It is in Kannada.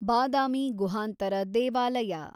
ಬಾದಾಮಿ ಗುಹಾಂತರ ದೇವಾಲಯ